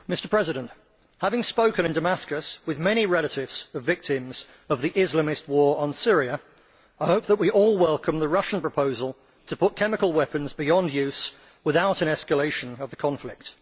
Mr President, having spoken in Damascus with many relatives of victims of the Islamist war on Syria, I hope that we all welcome the Russian proposal to put chemical weapons beyond use, without an escalation of the conflict.